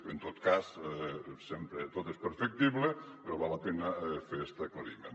bé en tot cas sempre tot és perfectible però val la pena fer este aclariment